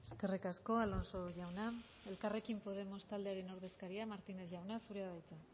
eskerrik asko alonso jauna elkarrekin podemos taldearen ordezkaria martínez jauna zurea da hitza